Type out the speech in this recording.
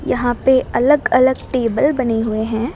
यहां पे अलग अलग टेबल बने हुए हैं।